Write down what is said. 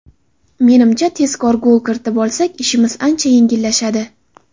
Menimcha, tezkor gol kiritib olsak, ishimiz ancha yengillashadi.